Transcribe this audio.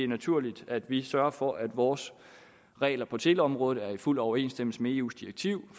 naturligt at vi sørger for at vores regler på teleområdet er i fuld overensstemmelse med eus direktiv